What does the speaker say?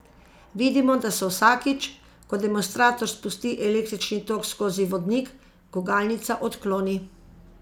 Vidimo, da se vsakič, ko demonstrator spusti električni tok skozi vodnik, gugalnica odkloni.